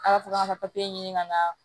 A ka to ka ɲini ka na